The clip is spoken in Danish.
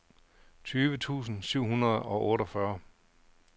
tyve tusind syv hundrede og otteogfyrre